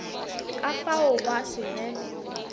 ka fao gwa se be